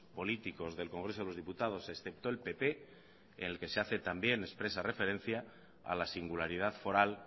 políticos del congreso de los diputados excepto el pp en el que se hace también expresa referencia a la singularidad foral